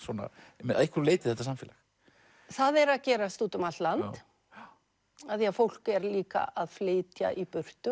að einhverju leyti þetta samfélag það er að gerast út um allt land af því að fólk er líka að flytja í burtu